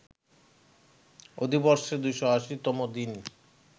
অধিবর্ষে ২৮০ তম দিন